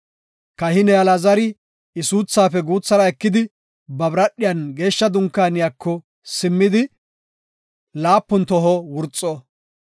Kahiney Alaazari I suuthaafe guuthara ekidi ba biradhiyan geeshsha dunkaaniyako simmidi laapun toho wurxo.